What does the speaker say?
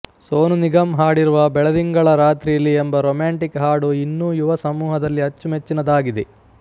ಸೋನು ನಿಗಮ್ ಹಾಡಿರುವ ಬೆಳದಿಂಗಳ ರಾತ್ರಿಲಿ ಎಂಬ ರೊಮ್ಯಾಂಟಿಕ್ ಹಾಡು ಇನ್ನೂ ಯುವ ಸಮೂಹದಲ್ಲಿ ಅಚ್ಚುಮೆಚ್ಚಿನದಾಗಿದೆ